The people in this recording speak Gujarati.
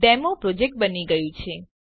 ડેમોપ્રોજેક્ટ બની ગયું છે